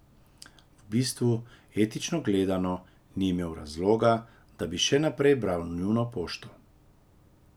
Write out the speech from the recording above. V bistvu, etično gledano, ni imel razloga, da bi še naprej bral njuno pošto.